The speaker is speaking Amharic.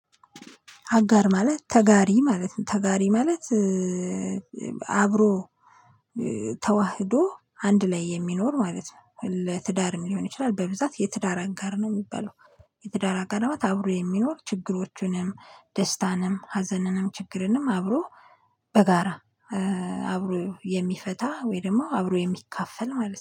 አጋር ማለት ተጋሪ ማለት ነው ተጋሪ ማለት አብሮ ተዋህዶ አንድ ላይ የሚኖር ማለት ነው። ለትዳርም ሊሆን ይችላል በብዛት የትዳር አጋር ነው የሚባለው። የትዳር አብሮ የሚኖር ችግሮቹንም ደስታንም ሀዘንንም ችግርንም አብሮ በጋራ አብሮ የሚፈታ ወይ ደግሞ አብሮ የሚካፈል ማለት ነው